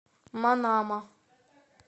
манама